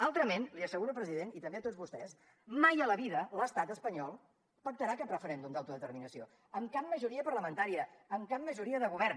altrament li asseguro president i també a tots vostès mai a la vida l’estat espanyol pactarà cap referèndum d’autodeterminació amb cap majoria parlamentària amb cap majoria de govern